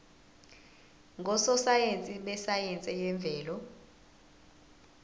ngososayense besayense yemvelo